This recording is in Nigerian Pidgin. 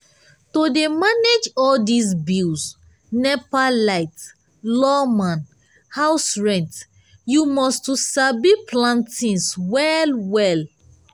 to dey manage all dis bills nepa light lawma house rent you must to sabi plan tins well-well.